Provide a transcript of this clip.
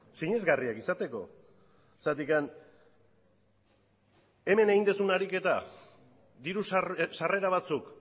sinesgarriak izateko zergatik hemen egin duzun ariketa diru sarrera batzuk